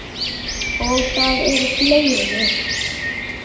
Og það eru fleiri.